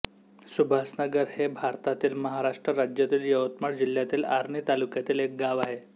सुभाषनगर हे भारतातील महाराष्ट्र राज्यातील यवतमाळ जिल्ह्यातील आर्णी तालुक्यातील एक गाव आहे